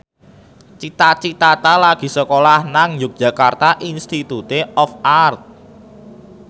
Cita Citata lagi sekolah nang Yogyakarta Institute of Art